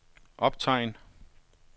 optegn